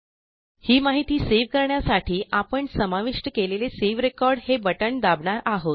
ही माहिती सेव्ह करण्यासाठी आपण समाविष्ट केलेले सावे रेकॉर्ड हे बटण दाबणार आहोत